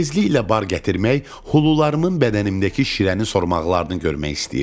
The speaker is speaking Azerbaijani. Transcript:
Tezliklə bar gətirmək, hulularımın bədənimdəki şirəni sormaqlarını görmək istəyirdim.